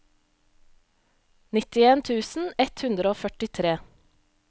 nittien tusen ett hundre og førtitre